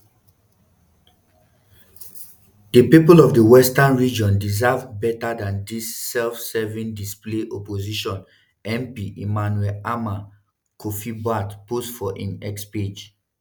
"di pipo of di western region deserve beta dan dis sef-serving displays" opposition mp emmanuel armah kofi-buahpost for im x page.